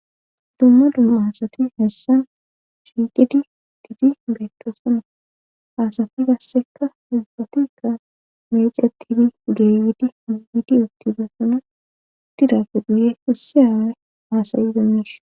dumma dumma aasati hessan shiiqidi tiidi beetto suna asafi gassekka ufatikka mece tidi geeyidi migidi ootibesuna itidafe duye isse aawe haasayiza mis